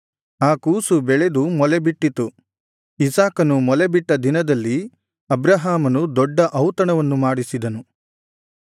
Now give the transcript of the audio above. ಆ ಕೂಸು ಬೆಳೆದು ಮೊಲೆಬಿಟ್ಟಿತು ಇಸಾಕನು ಮೊಲೆ ಬಿಟ್ಟ ದಿನದಲ್ಲಿ ಅಬ್ರಹಾಮನು ದೊಡ್ಡ ಔತಣವನ್ನು ಮಾಡಿಸಿದನು